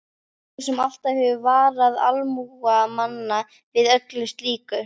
Þú sem alltaf hefur varað almúga manna við öllu slíku!